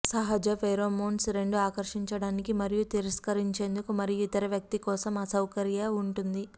సహజ ఫేరోమోన్స్ రెండు ఆకర్షించడానికి మరియు తిరస్కరించేందుకు మరియు ఇతర వ్యక్తి కోసం అసౌకర్య ఉంటుంది